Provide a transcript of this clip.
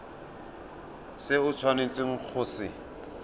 se o tshwanetseng go se